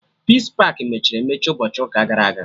Peace pakị mechiri emechi ụbọchị ụka gara aga